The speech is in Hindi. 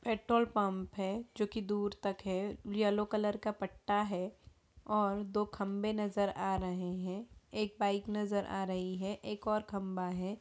पेट्रोल पंप है जो के दूर तक है येलो कलर का पट्टा है और दो खंभे नजर आ रहें हैं एक बाइक नजर आ रही है एक और खंभा है।